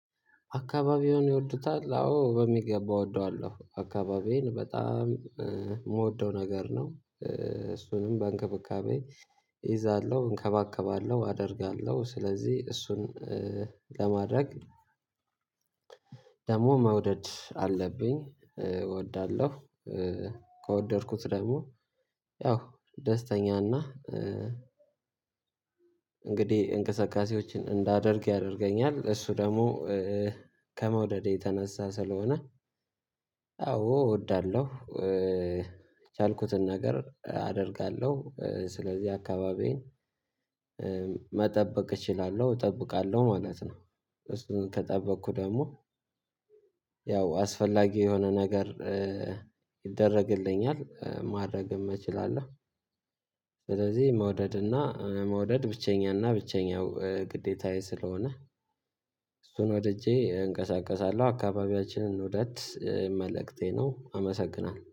አካባቢውን ይወዱታል አዎ በሚገባ እወደዋለሁ አካባቢዬን በጣም የምወደው ነገር ነው። እሱንም በእንክብካቤ እይዛለሁ እንከባከባለሁ አደርጋለሁ ስለዚህ እሱን ለማድረግ ደግሞ መውደድ አለብኝ እወዳለሁ። ከወደድኩት ደግሞ ያው ደስተኛና እንግዲህ እንቅስቃሴዎችን እንዳደርግ ያደርገኛል እሱ ደግሞ ከመውደዴ የተነሳ ስለሆነ አዎ እወዳለሁ የቻልኩትን ነገር አደርጋለሁ። ስለዚህ አካባቢዬን መጠበቅ እችላለሁ እጠብቃለሁ ማለት ነው። እሱን ከጠበቅኩ ደግሞ ያው አስፈላጊ የሆነ ነገር ይደረግልኛል ማድረግም እችላለሁ። ስለዚህ መውደድና መውደድ ብቸኛ እና ብቸኛው ግዴታዬ ስለሆነ እሱን ወድጄ እንቀሳቀሳለሁ አካባቢያችንን እንውደድ መልእክቴ ነው አመሰግናለሁ